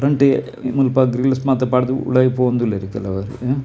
ಮುಲ್ಪ ಗ್ರಿಲ್ಲ್ಸ್ ಮಾತ ಪಾಡ್ದ್ ಉಲಾಯಿ ಪೋವೊಂದು ಉಲ್ಲೆರ್ ಕೆಲವೆರ್.